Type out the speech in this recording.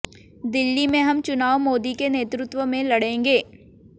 दिल्ली में हम चुनाव मोदी के नेतृत्व में लड़ेंगे